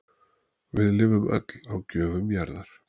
Við lifum öll á gjöfum jarðar